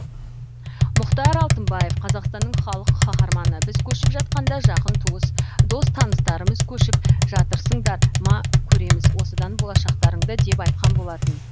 мұхтар алтынбаев қазақстанның халық қаһарманы біз көшіп жатқанда жақын туыс дос таныстарымыз көшіп жатырсыңдар ма көреміз осыдан болашақтарыңды деп айтқан болатын